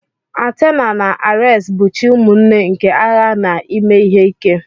Athena na Ares bụ chi ụmụnne nke agha na ime ihe ike.